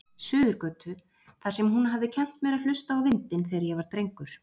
Suðurgötu, þar sem hún hafði kennt mér að hlusta á vindinn, þegar ég var drengur.